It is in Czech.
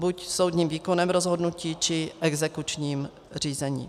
Buď soudním výkonem rozhodnutí, či exekučním řízením.